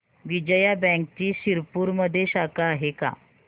विजया बँकची शिरपूरमध्ये शाखा आहे का